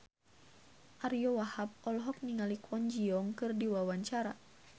Ariyo Wahab olohok ningali Kwon Ji Yong keur diwawancara